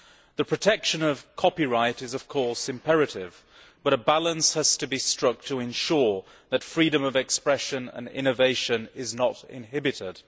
The protection of copyright is imperative, but a balance has to be struck to ensure that freedom of expression and innovation are not inhibited.